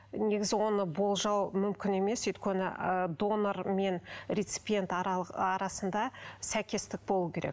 негізі оны болжау мүмкін емес өйткені ы донор мен реципиент арасында сәйкестік болу керек